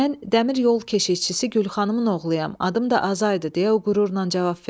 Mən dəmir yol keşikçisi Gülxanın oğluyam, adım da Azaydır, deyə o qürurla cavab verdi.